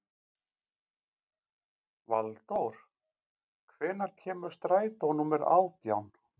Valdór, hvenær kemur strætó númer átján?